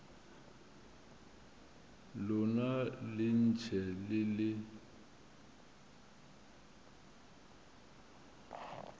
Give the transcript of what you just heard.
lona le ntše le le